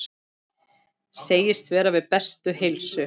Segist vera við bestu heilsu.